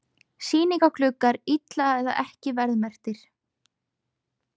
Sýningargluggar illa eða ekki verðmerktir